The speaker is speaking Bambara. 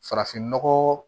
Farafinnɔgɔ